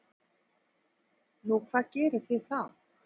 Nú, hvað gerið þið þá?